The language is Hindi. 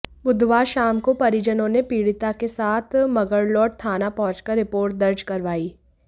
बुधवार शाम को परिजनों ने पीड़िता के साथ मगरलोड थाना पहुंचकर रिपोर्ट दर्ज करवाई